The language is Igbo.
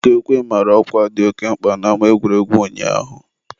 ọkụ ekwe mara ọkwa dị oke mkpa n'ama egwuregwu ụnyaahụ.